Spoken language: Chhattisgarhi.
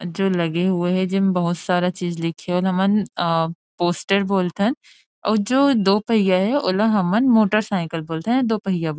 जो लगे हुए हे जे मन बहुत सारा चीज लिखे हुए ओला हमन अन् पोस्टर बोलथन ओ जो दो पहिया हे ओला हमन मोटर साइकिल बोलथन या दो पहिया बोलथन।